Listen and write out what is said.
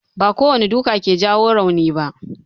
Ba kowane duka ke jawo rauni ba.